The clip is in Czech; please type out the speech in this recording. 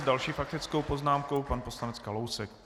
S další faktickou poznámkou pan poslanec Kalousek.